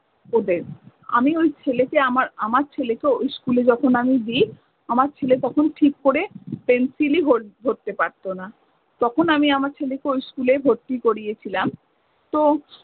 ওদের। আমি ওই ছেলেকে আমার~আমার ছেলেকে ওই school যখন আমি দিই, আমার ছেলে তখন ঠিক করে pencil ই hold ধরতে পারতো না। তখন আমি আমার ছেলেকে ওই school এ ভর্তি করিয়েছিলাম। তো